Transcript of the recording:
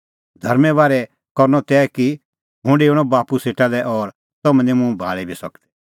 धर्में बारै करनअ तै कि हुंह डेऊणअ बाप्पू सेटा लै और तम्हैं निं मुंह भी भाल़ी सकदै